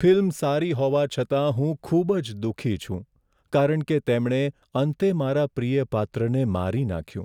Film સારી હોવા છતાં હું ખૂબ જ દુઃખી છું કારણ કે તેમણે અંતે મારા પ્રિય પાત્રને મારી નાખ્યું.